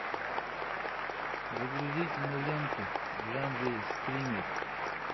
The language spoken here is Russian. загрузи киноленту в жанре скример